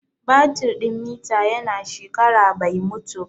Batir din mita ya na shekara bai mutu ba